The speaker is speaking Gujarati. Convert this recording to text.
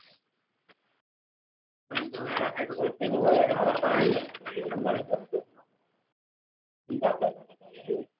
પરંતુ વેલા ફાયદો કેરી વાળા ને મળે ને